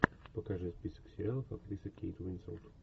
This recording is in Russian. покажи список сериалов актриса кейт уинслет